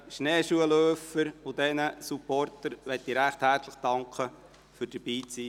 Auch den Schneeschuhläufern und den Supportern möchte ich recht herzlich für ihr Dabeisein danken.